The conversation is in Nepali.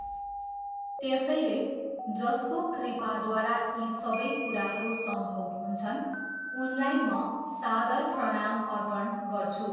त्यसैले, जसको कृपाद्वारा यी सबै कुराहरू सम्भव हुन्छन्, उनलाई म सादर प्रणाम अर्पण गर्छु।